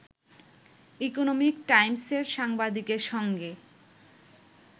economic টাইমসের সাংবাদিকের সঙ্গে